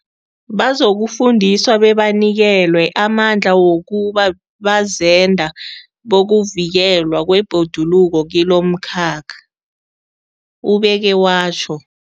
Bazokufundiswa bebanikelwe amandla wokuba bazenda bokuvikelwa kwebhoduluko kilomkhakha, ubeke watjho.